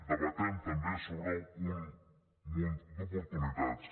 debatem també sobre un munt d’oportunitats